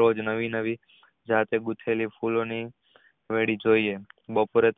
રોજ નવી નવી જાતે ગૂંથેલી ફૂલો ની ગઢી જોયે બપોરે